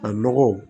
A nɔgɔ